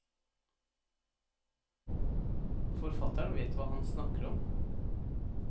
Forfatteren vet hva hans snakker om.